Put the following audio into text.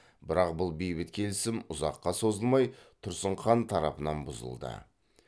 бірақ бұл бейбіт келісім ұзаққа созылмай тұрсын хан тарапынан бұзылды